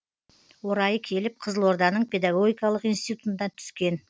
орайы келіп қызылорданың педагогикалық институтына түскен